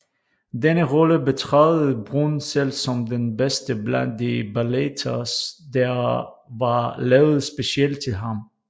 Denne rolle betragtede Bruhn selv som den bedste blandt de balletter der var lavet specielt til ham